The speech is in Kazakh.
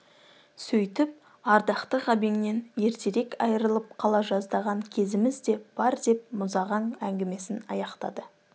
сөйтіп ардақты ғабеңнен ертерек айырылып қала жаздаған кезіміз де бар деп мұзағаң әңгімесін аяқтады